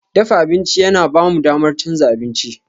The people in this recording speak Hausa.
Dafa abinci yana ba mu damar canza abinci.